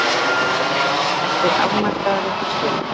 Eftir afmarkaðri stund.